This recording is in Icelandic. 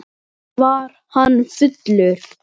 Er bara borgað fyrir hluti?